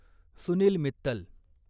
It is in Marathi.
सुनील मित्तल